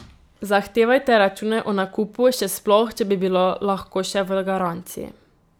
Zahtevajte račune o nakupu, še sploh, če bi bilo lahko še v garanciji.